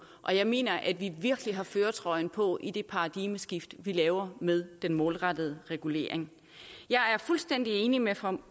og jeg mener at vi virkelig har førertrøjen på i det paradigmeskift vi laver med den målrettede evaluering jeg er fuldstændig enig med fru